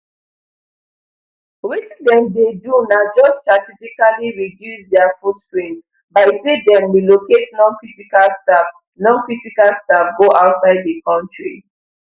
wetin dem dey do na just strategically reduce dia footprint by say dem relocate noncritical staff noncritical staff go outside the country